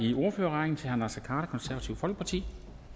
i ordførerrækken til herre naser konservative folkeparti